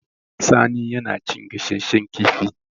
Sani yana cin gasasshen kifi